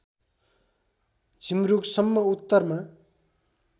झिमरूक सम्म उत्तरमा